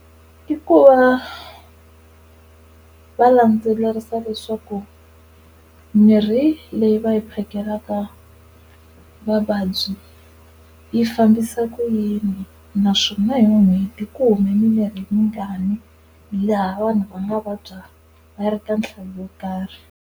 I ku va va landzelerisa leswaku mirhi leyi va yi phakelaka vavabyi, yi fambisa ku yini naswona hi n'hweti ku humi mimirhi yingani laha vanhu va nga vabya va ri ka nhlayo yo karhi.